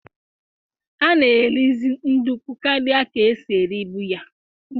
A na eri zi ndukwu karịa ka esi eribu ya